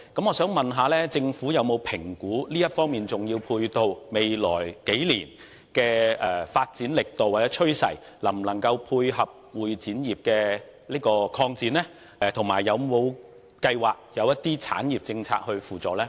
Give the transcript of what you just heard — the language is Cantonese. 我想問政府有否評估，這方面的重要配套設施在未來數年的發展力度或趨勢能否配合會展業的擴展，以及有否計劃推行一些產業政策來輔助呢？